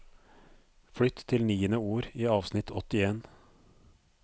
Flytt til niende ord i avsnitt åttien